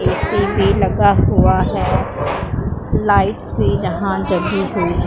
AC भी लगा हुआ है लाइट्स भी यहां जगी हुई--